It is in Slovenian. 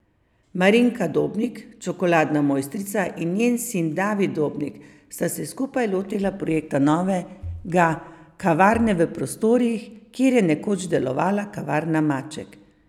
Marinka Dobnik, čokoladna mojstrica in njen sin David Dobnik sta se skupaj lotila projekta novega kavarne v prostorih, kjer je nekoč delovala kavarna Maček.